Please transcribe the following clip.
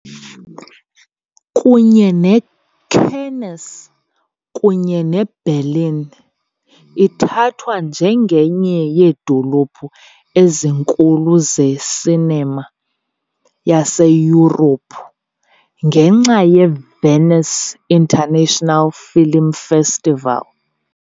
Kunye neCannes kunye neBerlin, ithathwa njengenye yeedolophu ezinkulu ze -cinema yaseYurophu, ngenxa yeVenice International Film Festival .